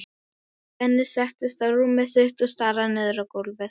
Benni settist á rúmið sitt og starði niður á gólfið.